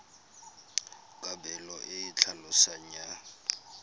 kabelo e e tlhaloswang ya